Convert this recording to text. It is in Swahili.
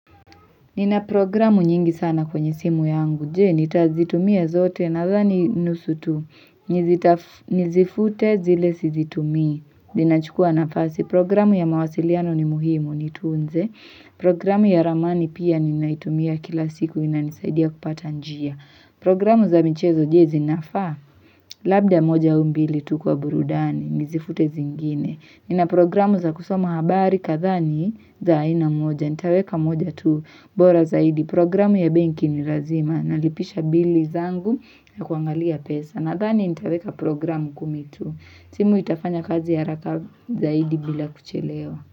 Nina programu nyingi sana kwenye simu yangu, jee, nitazitumia zote nadhani nusutu, nizifute zile sizitumia, zinachukua nafasi. Programu ya mawasiliano ni muhimu, nitunze. Programu ya ramani pia ninaitumia kila siku, inanisaidia kupata njia. Programu za mchezo je zinafa Labda moja au mbili tu kwa burudani Nizifute zingine Nina programu za kusoma habari katha ni za aina moja Nitaweka moja tu bora zaidi Programu ya benki ni razima nalipisha bili zangu ya kuangalia pesa nadhani nitaweka programu kumi tu. Simu itafanya kazi haraka zaidi bila kuchelewa.